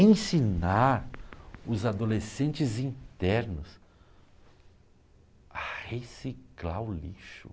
Ensinar os adolescentes internos a reciclar o lixo.